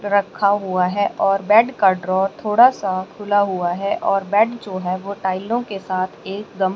रखा हुआ है और बेड का ड्रॉर थोड़ा सा खुला हुआ है और बेड जो है वो टाइलों के साथ एकदम--